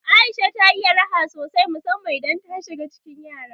Aisha ta iya raha sosai musamman idan ta shiga cikin yara.